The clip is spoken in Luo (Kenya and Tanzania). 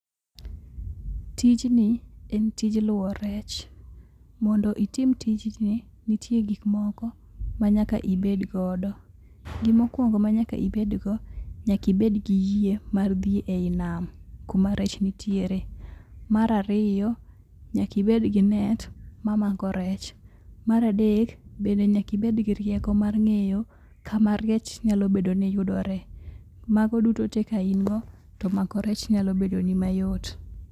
Tijni en tij luwo rech. Mondo itim tijni, nitie gik moko manyaka ibed godo. Gima okuongo manyaka ibedgo nyaka ibed gi yie mar dhi einam kuma rech nitiere. Mar ariyo nyaka ibed gi net mamako rech. Mar adek bende nyaka ibed girieko mar ng'eyo kama rech nyalo bedo niyudoree. Mago duto te kain go, to mako rech nyalo bedoni mayot.